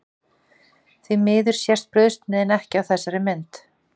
Því miður sést brauðsneiðin ekki á þessari mynd.